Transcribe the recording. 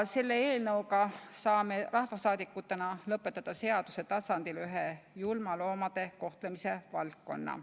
Selle eelnõuga saame rahvasaadikutena lõpetada seaduse tasandil ühe viisi loomi julmalt kohelda.